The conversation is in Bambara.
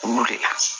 Ku le